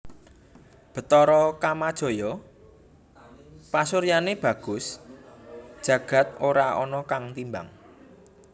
Bathara Kamajaya pasuryané bagus jagad ora ana kang timbang